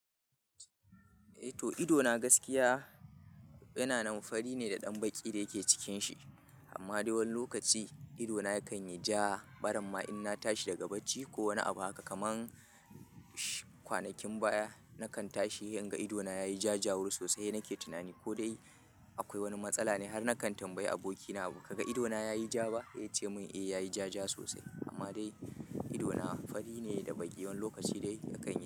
Eh to idona gaskiya yana nam fari ne da ɗan baƙi da yake cikinshi. Amma da wani lokaci idona yakan yi ja, baramma in na tashi daga bacci ko wani abu haka kaman kwanakin baya. Nakan tashi in ga idona ya yi ja, jawari sosai nake tunani ko dai akwai wani matsala ne. Har nakan tambayi abokina "Ka ga idona ya yi ja ba?" Ya ce min "Eh, ya yi jaje sosai." Amma dai idona fari ne da baƙi. Wani lokaci dai yakan yi.